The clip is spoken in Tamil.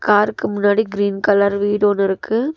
கார்க்கு முன்னாடி கிரீன் கலர் வீடு ஒன்னு இருக்கு.